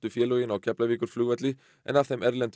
félögin á Keflavíkurflugvelli en af þeim erlendu